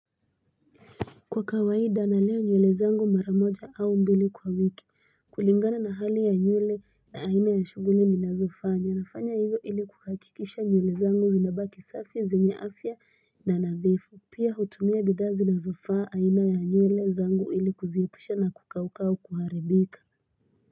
Kwa kawaida na leo nyulezango maramoja au mbeli kwa wiki. Kulingana na hali ya nyule na aina ya shubu nini na zofaa. Nyanafanya iyo ili kukakikisha nyulezango zina baki safia zina afia na nazefu. Pia hutumia bidazi na zofaa aina ya nyulezango ili kuzeyapusha na kukaukau kuharebika.